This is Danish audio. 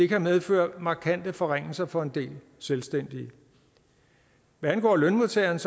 kan medføre markante forringelser for en del selvstændige hvad angår lønmodtagerne